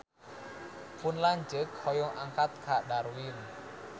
Pun lanceuk hoyong angkat ka Darwin